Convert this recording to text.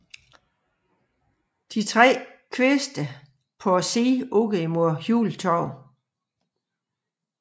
De tre tre kviste på siden ud mod Hjultorv